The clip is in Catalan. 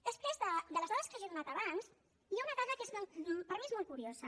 després de les dades que jo he donat abans hi ha una dada que per mi és molt curiosa